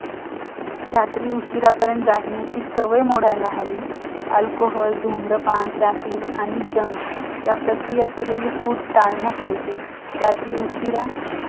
आम्हाला तुम्हाला सांगू का आमचं franchise देणं अवघड आहे. ते जरा कसं आहे विश्वासातलं माणूस पाहिजे. कोणाला देऊन चालणार नाही.